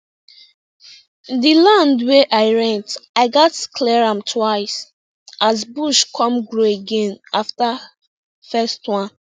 the land wey i rent i gatz clear am twice as bush come grow again after first one